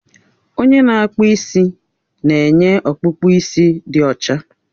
Onye na-akpụ isi na-enye ọkpụkpụ isi dị ọcha